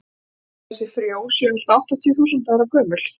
talið er að þessi frjó séu allt að áttatíu þúsund ára gömul